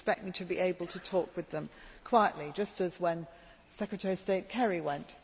You would expect me to be able to talk with them quietly, just as when Secretary of State Kerry went.